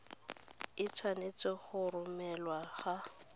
e tshwanetse go romelwa ga